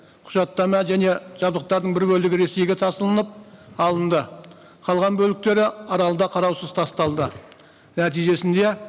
құжаттама және жабдықтардың бір бөлігі ресейге тасылынып алынды қалған бөліктері аралда қараусыз тасталды нәтижесінде